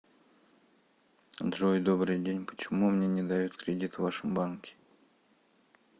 джой добрый день почему мне не дают кредит в вашем банке